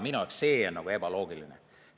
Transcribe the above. Minu arust see on ebaloogiline.